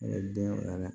E den a la